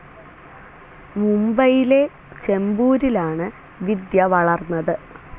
മുംബൈയിലെ ചെമ്പൂരിലാണ് വിദ്യ വളർന്നത്.